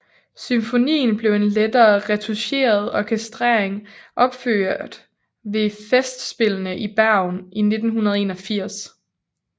Symfonien blev i en lettere retoucheret orkestrering opført ved Festspillene i Bergen i 1981